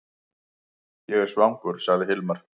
Ég er svangur, sagði Hilmar.